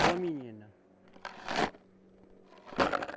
É uma menina.